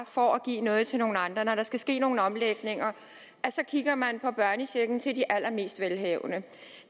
for at give noget til nogle andre når der skal ske nogle omlægninger kigger man på børnechecken til de allermest velhavende